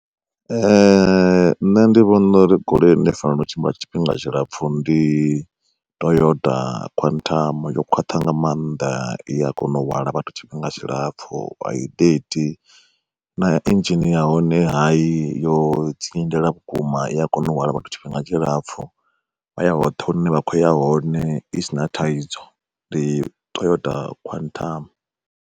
Ee nṋe ndi vhona uri goloi ine i fanela u tshimbila tshifhinga tshilapfhu ndi Toyota quantum yo khwaṱha nga maanḓa i a kona u hwala vhathu tshifhinga tshilapfhu ai na idzhini ya hone hayi yo dzingindela vhukuma i a kona u hwala vhathu tshifhinga tshilapfu, vha ya hoṱhe hune vha kho ya hone i si na thaidzo ndi Toyota quantum.